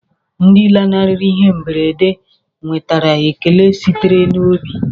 Ndị lanarịrị ihe mberede nwetara ekele sitere n'obi.